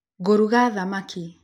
Ngũruga thamaki